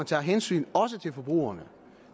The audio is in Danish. tager hensyn til forbrugerne